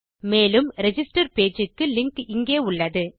மேலும் register page க்கு link இங்கே உள்ளது